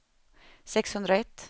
sexhundraett